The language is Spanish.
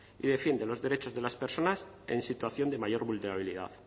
y defiende los derechos de las personas en situación de mayor vulnerabilidad